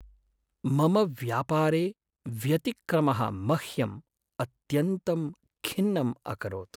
मम व्यापारे व्यतिक्रमः मह्यं अत्यन्तं खिन्नम् अकरोत्।